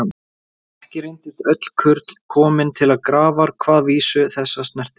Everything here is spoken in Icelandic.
En ekki reyndust öll kurl komin til grafar hvað vísu þessa snerti.